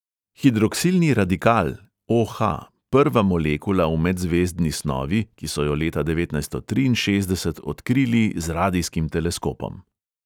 Hidroksilni radikal (o|ha), prva molekula v medzvezdni snovi, ki so jo leta devetnajststo triinšestdeset odkrili z radijskim teleskopom.